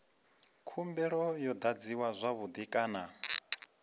khumbelo yo adziwa zwavhui kana